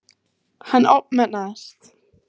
Hann ofmetnaðist.